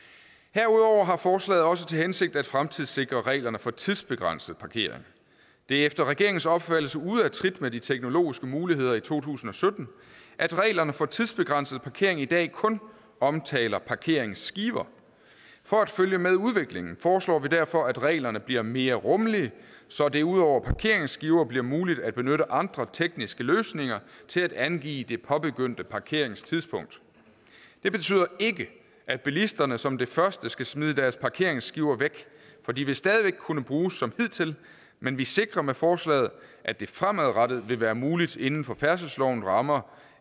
herudover har forslaget også til hensigt at fremtidssikre reglerne for tidsbegrænset parkering det er efter regeringens opfattelse ude af trit med de teknologiske muligheder i to tusind og sytten at reglerne for tidsbegrænset parkering i dag kun omtaler parkeringsskiver for at følge med udviklingen foreslår vi derfor at reglerne bliver mere rummelige så det ud over parkeringsskiver bliver muligt at benytte andre tekniske løsninger til at angive det påbegyndte parkeringstidspunkt det betyder ikke at bilisterne som det første skal smide deres parkeringsskiver væk for de vil stadig væk kunne bruges som hidtil men vi sikrer med forslaget at det fremadrettet vil være muligt inden for færdselslovens rammer